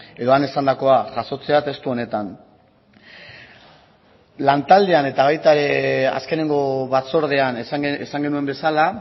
edo han esandakoa jasotzea testu honetan lantaldean eta baita ere azkeneko batzordean esan genuen bezala